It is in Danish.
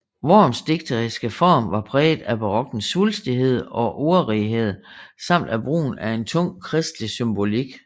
Worms digteriske form var præget af barokkens svulstighed og ordrighed samt af brugen af en tung kristelig symbolik